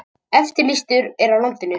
Eftirlýstur er á landinu